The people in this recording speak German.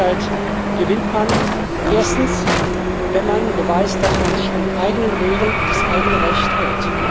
Und Glaubwürdigkeit gewinnt man erstens, wenn man beweist, dass man sich an die eigenen Regeln und das eigene Recht hält.